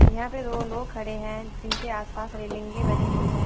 यहाँ पे दो लोग खड़े हैं जिनके आस पास रेलिंग भी बनी हुई है।